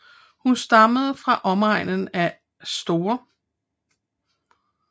Hun stammede fra omegnen af St